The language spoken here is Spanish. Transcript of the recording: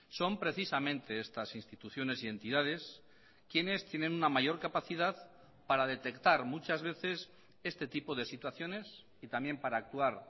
son precisamente estas instituciones y entidades quienes tienen una mayor capacidad para detectar muchas veces este tipo de situaciones y también para actuar